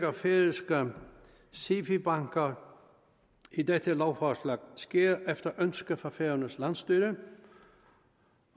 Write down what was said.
af færøske sifi banker i dette lovforslag sker efter ønske fra færøernes landsstyre